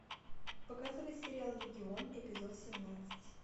показывай сериал легион эпизод семнадцать